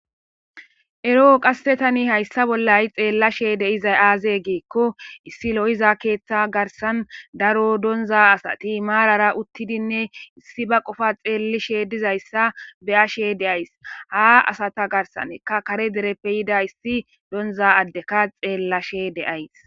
eroo qasse tani hayssa bollay xeellashe deizay aazee giikko issi lo7iza keeththa garsan daro donza asati maarara uttidinne issi ba qofa xeellishe dizayssa beyashe deays ha asata garsaneka kare dereppe yida issi donza addeka xeellashe deays